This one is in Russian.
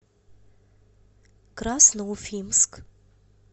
красноуфимск